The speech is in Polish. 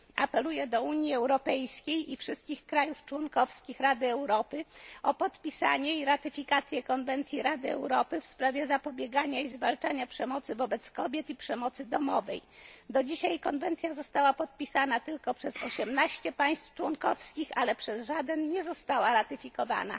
Apeluję do Unii Europejskiej i wszystkich krajów członkowskich Rady Europy o podpisanie i ratyfikację Konwencji Rady Europy w sprawie zapobiegania i zwalczania przemocy wobec kobiet i przemocy domowej. Do dzisiaj konwencja ta została podpisana tylko przez 18 państw członkowskich, ale przez żaden nie została ratyfikowana.